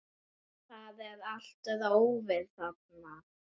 Það er allt rófið þarna.